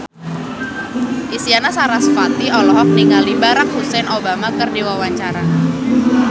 Isyana Sarasvati olohok ningali Barack Hussein Obama keur diwawancara